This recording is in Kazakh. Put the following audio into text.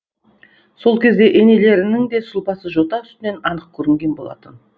сол кезде енелерінің де сұлбасы жота үстінен анық көрінген болатын